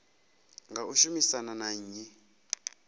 nga u shumisana na nnyi